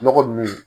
Nɔgɔ nunnu